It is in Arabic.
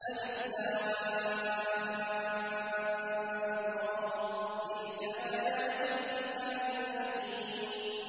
الر ۚ تِلْكَ آيَاتُ الْكِتَابِ الْحَكِيمِ